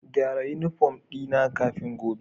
Gyara uniform dina kafin gobe